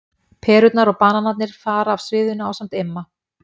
Perurnar og bananarnir fara af sviðinu ásamt Imma.